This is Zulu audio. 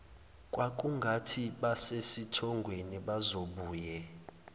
kwakungathi basesithongweni bazobuye